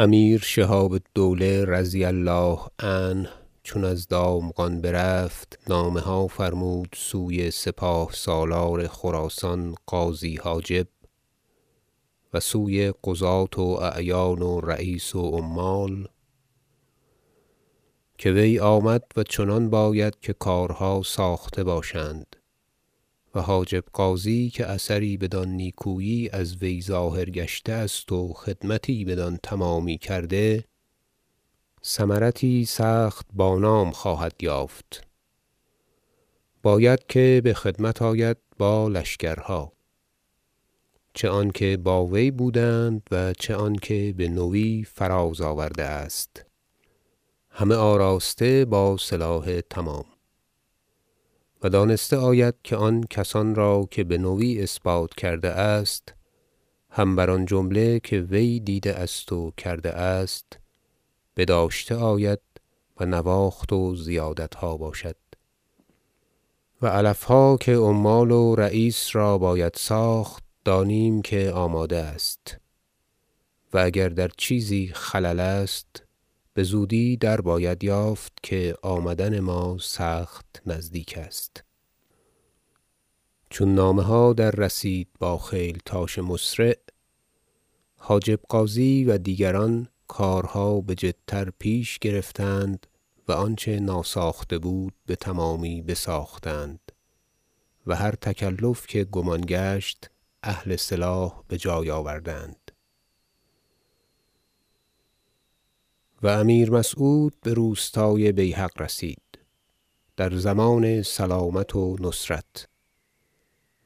امیر شهاب الدوله -رضی الله عنه- چون از دامغان برفت نامه ها فرمود سوی سپاه سالار خراسان غازی حاجب و سوی قضاة و اعیان و رییس و عمال که وی آمد و چنان باید که کارها ساخته باشند و حاجب غازی که اثری بدان نیکویی از وی ظاهر گشته است و خدمتی بدان تمامی کرده ثمرتی سخت بانام خواهد یافت باید که به خدمت آید با لشکرها چه آنکه با وی بودند و چه آنکه به نوی فراز آورده است همه آراسته با سلاح تمام و دانسته آید که آن کسان را که به نوی اثبات کرده است هم بر آن جمله که وی دیده است و کرده است بداشته آید و نواخت و زیادتها باشد و علفها که عمال و رییس را باید ساخت دانیم که آماده است و اگر در چیزی خلل است بزودی در باید یافت که آمدن ما سخت نزدیک است چون نامه ها دررسید با خیلتاش مسرع حاجب غازی و دیگران کارها بجدتر پیش گرفتند و آنچه ناساخته بود بتمامی بساختند و هر تکلف که گمان گشت اهل سلاح به جای آوردند و امیر مسعود به روستای بیهق رسید در ضمان سلامت و نصرت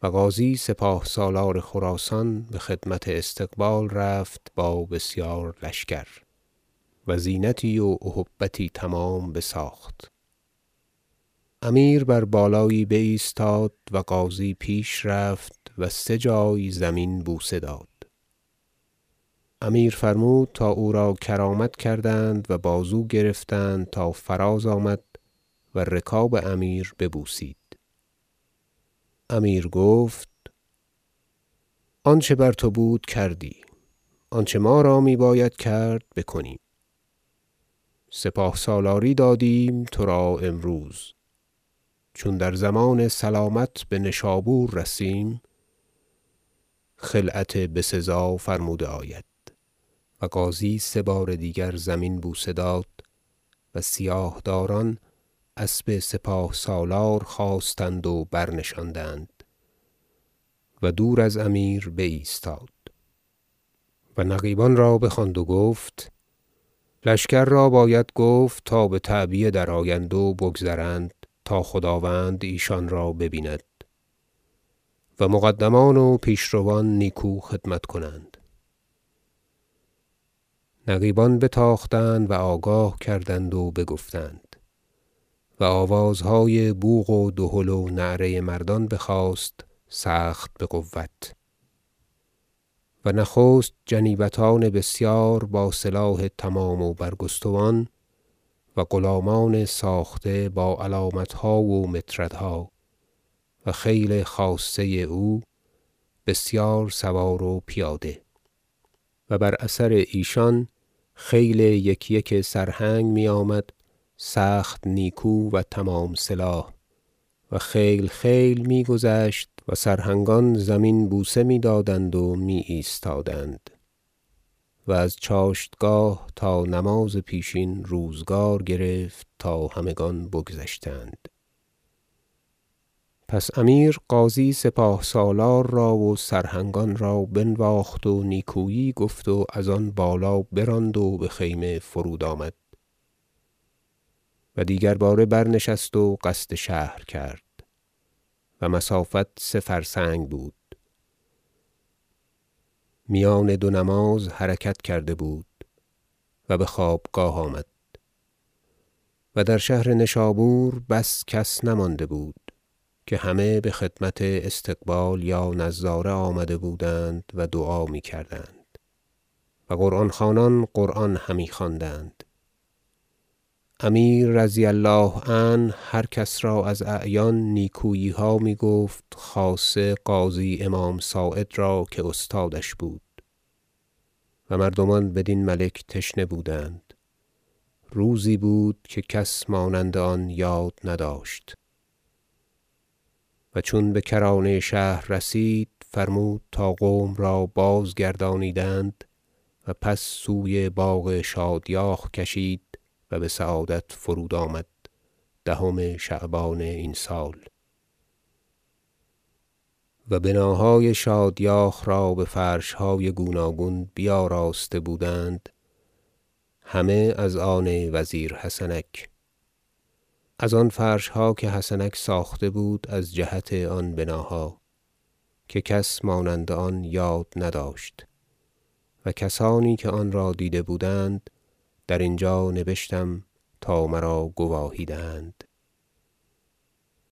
و غازی سپاه سالار خراسان به خدمت استقبال رفت با بسیار لشکر و زینتی و اهبتی تمام بساخت امیر بر بالایی بایستاد و غازی پیش رفت و سه جای زمین بوسه داد امیر فرمود تا او را کرامت کردند و بازو گرفتند تا فراز آمد و رکاب امیر ببوسید امیر گفت آنچه بر تو بود کردی آنچه ما را می باید کرد بکنیم سپاه سالاری دادیم تو را امروز چون در ضمان سلامت به نشابور رسیم خلعت بسزا فرموده آید و غازی سه بار دیگر زمین بوسه داد و سیاه داران اسب سپاه سالار خواستند و برنشاندند و دور از امیر بایستاد و نقیبان را بخواند و گفت لشکر را باید گفت تا بتعبیه درآیند و بگذرند تا خداوند ایشان را ببیند و مقدمان و پیش روان نیکو خدمت کنند نقیبان بتاختند و آگاه کردند و بگفتند و آوازهای بوق و دهل و نعره مردان بخاست سخت بقوت و نخست جنیبتان بسیار با سلاح تمام و برگستوان و غلامان ساخته با علامتها و مطردها و خیل خاصه او بسیار سوار و پیاده و بر اثر ایشان خیل یک یک سرهنگ می آمد سخت نیکو و تمام سلاح و خیل خیل میگذشت و سرهنگان زمین بوسه می دادند و می ایستادند و از چاشتگاه تا نماز پیشین روزگار گرفت تا همگان بگذشتند پس امیر غازی سپاه سالار را و سرهنگان را بنواخت و نیکویی گفت و از آن بالا براند و به خیمه فرودآمد و دیگر باره برنشست و قصد شهر کرد و مسافت سه فرسنگ بود میان دو نماز حرکت کرده بود و به خوابگاه به شهر آمد و در شهر نشابور بس کس نمانده بود که همه به خدمت استقبال یا نظاره آمده بودند و دعا می کردند و قران خوانان قران همی خواندند امیر -رضی الله عنه- هر کس را از اعیان نیکوییها می گفت خاصه قاضی امام صاعد را که استادش بود و مردمان بدین ملک تشنه بودند روزی بود که کس مانند آن یاد نداشت و چون به کرانه شهر رسید فرمود تا قوم را بازگردانیدند و پس سوی باغ شادیاخ کشید و به سعادت فرودآمد دهم شعبان این سال و بناهای شادیاخ را به فرشهای گوناگون بیاراسته بودند همه از آن وزیر حسنک از آن فرشها که حسنک ساخته بود از جهت آن بناها که مانند آن کس یاد نداشت و کسانی که آنرا دیده بودند در اینجا نبشتم تا مرا گواهی دهند